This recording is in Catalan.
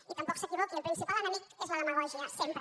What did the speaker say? i tampoc s’equivoqui el principal enemic és la demagògia sempre